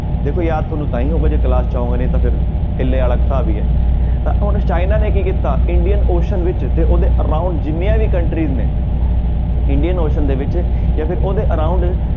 ਦੇਖੋ ਯਾਦ ਤੁਹਾਨੂੰ ਤਾਂ ਹੀ ਹੋਊਗਾ ਜੇ class 'ਚ ਆਓਗੇ ਨਹੀਂ ਤਾਂ ਫਿਰ ਟਿੱਲੇ ਵਾਲਾ ਹਿਸਾਬ ਹੀ ਹੈ ਤਾਂ ਹੁਣ ਚਾਈਨਾ ਨੇ ਕੀ ਕੀਤਾ ਇੰਡੀਅਨ ਓਸੀਅਨ ਵਿੱਚ ਤੇ ਉਹਦੇ around ਜਿੰਨੀਆਂ ਵੀ countries ਨੇ ਇੰਡੀਅਨ ਓਸੀਅਨ ਦੇ ਵਿੱਚ ਜਾਂ ਫਿਰ ਉਹਦੇ around